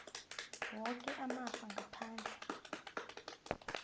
woke amafa ngaphandle